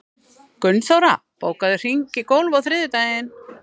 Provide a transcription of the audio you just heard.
Gunnþóra, bókaðu hring í golf á þriðjudaginn.